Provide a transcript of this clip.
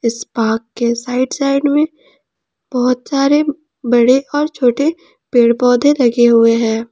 इस पार्क के side side में बहुत सारे बड़े और छोटे पेड़ पौधे लगे हुए हैं।